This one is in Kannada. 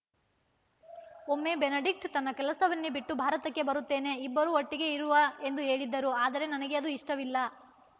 ಒಮ್ಮೆ ಬೆನಡಿಕ್ಟ್ ತನ್ನ ಕೆಲಸವನ್ನೇ ಬಿಟ್ಟು ಭಾರತಕ್ಕೆ ಬರುತ್ತೇನೆ ಇಬ್ಬರೂ ಒಟ್ಟಿಗೆ ಇರುವ ಎಂದು ಹೇಳಿದ್ದರು ಆದರೆ ನನಗೆ ಅದು ಇಷ್ಟವಿಲ್ಲ